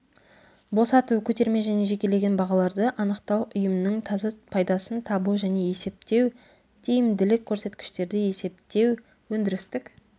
босату көтерме және жекелеген бағаларды анықтау ұйымның таза пайдасын табу және есептеу тиімділік көрсеткіштерді есептеу өндірістік